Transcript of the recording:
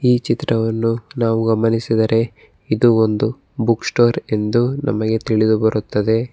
ಈ ಚಿತ್ರವನ್ನು ನಾವು ಗಮನಿಸಿದರೆ ಇದು ಒಂದು ಬುಕ್ ಸ್ಟೋರ್ ಎಂತ ನಮಗೆ ತಿಳಿದ ಬರುತ್ತದೆ.